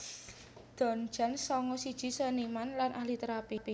Don Jones sanga siji seniman lan ahli térapi